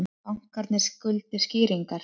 Bankarnir skuldi skýringar